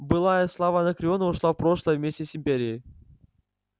былая слава анакреона ушла в прошлое вместе с империей